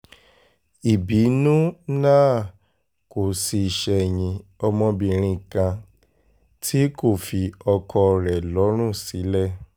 ìbínú náà kò sì ṣẹ̀yìn ọmọbìnrin kan tí kò fi ọkọ rẹ̀ lọ́rùn sílẹ̀